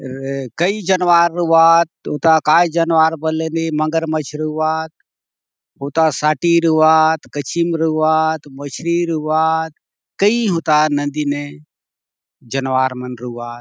ए कई जनवार रऊ आत हुता काय जनवार बल ले ने मगरमछ रउआत हुता साटी रउआत कचिम रउआत मछरी रउआत कई हुता नदी ने जनवार मन रउआत।